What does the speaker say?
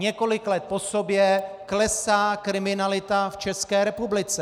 Několik let po sobě klesá kriminalita v České republice.